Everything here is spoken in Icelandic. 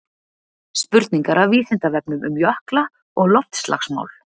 Spurningar af Vísindavefnum um jökla og loftslagsmál.